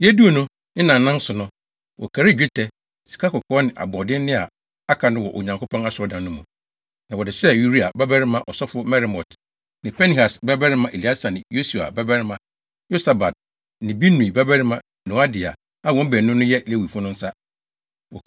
Yeduu no, ne nnaanan so no, wɔkarii dwetɛ, sikakɔkɔɔ ne aboɔdenne a aka no wɔ Onyankopɔn asɔredan no mu, na wɔde hyɛɛ Uria babarima ɔsɔfo Meremot ne Pinehas babarima Eleasar ne Yesua babarima Yosabad ne Binui babarima Noadia a wɔn baanu no yɛ Lewifo no nsa.